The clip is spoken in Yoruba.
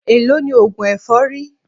Èló ni oògùn èfọ́rí?